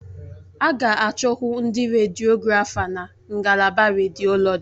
A ga-achọkwu ndị rediọgrafa na ngalaba rediọlọji.